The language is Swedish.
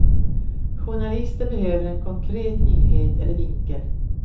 Journalister behöver en konkret nyhet eller vinkel.